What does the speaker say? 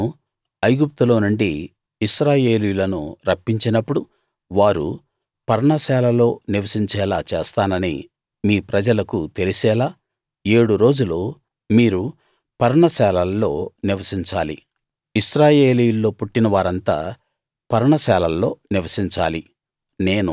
నేను ఐగుప్తులోనుండి ఇశ్రాయేలీయులను రప్పించినప్పుడు వారు పర్ణశాలలో నివసించేలా చేసానని మీ ప్రజలకు తెలిసేలా ఏడు రోజులు మీరు పర్ణశాలల్లో నివసించాలి ఇశ్రాయేలీయుల్లో పుట్టిన వారంతా పర్ణశాలల్లో నివసించాలి